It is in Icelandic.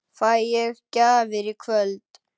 Fæ ég gjafir í kvöld?